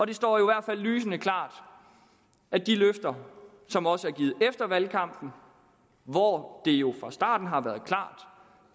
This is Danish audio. det står i hvert fald lysende klart at de løfter som også er givet efter valgkampen hvor det jo fra starten har været klart